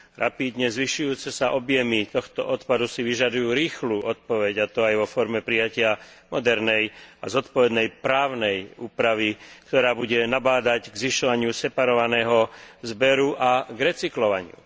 Rapídne zvyšujúce sa objemy tohto odpadu si vyžadujú rýchlu odpoveď, a to aj vo forme prijatia modernej a zodpovednej právnej úpravy, ktorá bude nabádať k zvyšovaniu separovaného zberu a k recyklovaniu.